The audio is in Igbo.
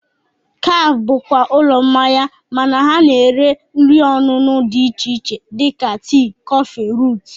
Kafe bụkwa ụlọ mmanya mana ha na-erekwa nri ọṅụṅụ dị iche iche dịka tii, kọfị, ruut